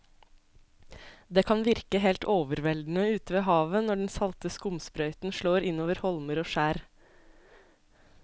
Det kan virke helt overveldende ute ved havet når den salte skumsprøyten slår innover holmer og skjær.